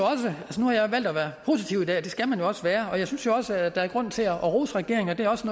valgt at være positiv i dag og det skal man jo også være og jeg synes også at der er grund til at rose regeringen og det er også